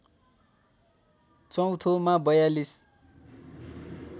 चौँथोमा ४२